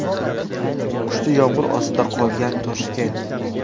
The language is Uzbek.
Kuchli yomg‘ir ostida qolgan Toshkent.